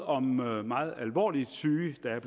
om meget meget alvorligt syge og der er